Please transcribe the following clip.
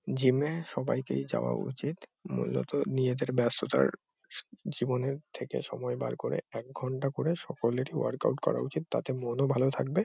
Gym -এ সবাইকেই যাওয়া উচিত মূলত নিজেদের ব্যস্ততার সু জীবনের থেকে সময় বার করে এক ঘণ্টা করে সকলেরই ওয়ার্ক আউট করা উচিত তাতে মনও ভালো থাকবে।